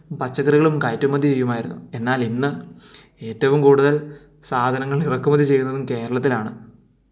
പച്ചകറികൾ കയറ്റുമതി ചെയ്യുമായിരുന്നു എന്നാൽ ഇന്ന് ഏറ്റവും കൂടുതൽ സാധനങ്ങൾ ഇറക്കുമതി ചെയ്യുന്നതും കേരളത്തിലാണ്